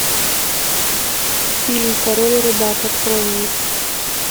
фильм король рыбак открой мне